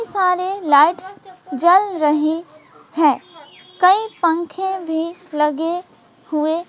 सारे लाइट्स जल रहे हैं कई पंखे भी लगे हुए --